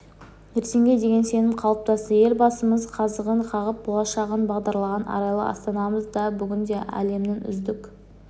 ертеңге деген сенім қалыптасты елбасымыз қазығын қағып болашағын бағдарлаған арайлы астанамыз да бүгінде әлемнің үздік